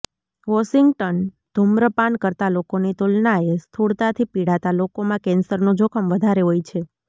Washington ધૂમ્રપાન કરતા લોકોની તુલનાએ સ્થૂળતાથી પીડાતા લોકોમાં કેન્સરનું જોખમ વધારે હોય છે